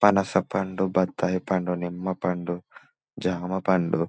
పనస పండుబత్తాయి పండునిమ్మ పండు జామ పండు--